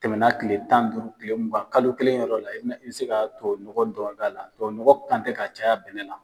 Tɛmɛ na kile tan duuru kile mugan, kalo kelen yɔrɔ la, i bi se ka tubabu nɔgɔ dɔrɔn k'a la, tubabu nɔgɔ kan tɛ ka caya bɛnɛ na.